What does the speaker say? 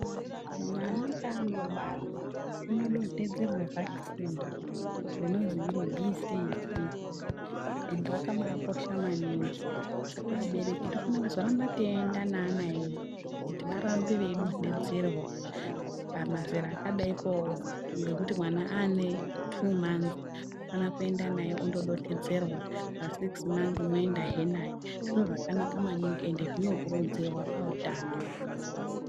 Mwana paanobarwa unodondtedzerwa vhakisini rinonzi Bhiisiiji. Endi rakabaakosha maningi saka vabereki tinozofanira kuzoramba teienda neana edu kuti varambe veidonhtedzerwa . Pamazera akadai po ngekuti mwana aane 2 manzi tofana kuenda naye ondodontodzerwa . Pa sikisi manzi moendazve naye . Zviro zvakanaka maningi ende zvinokurudzirwa pautano